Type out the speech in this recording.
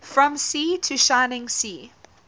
from sea to shining sea